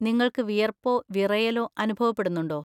നിങ്ങൾക്ക് വിയർപ്പോ വിറയലോ അനുഭവപ്പെടുന്നുണ്ടോ?